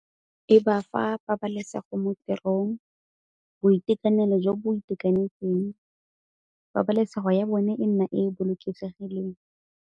E ba fa pabalesego mo tirong, boitekanelo jo bo itekanetseng, pabalesego ya bone e nna e bolokesegileng.